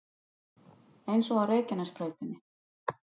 Eins og á Reykjanesbrautinni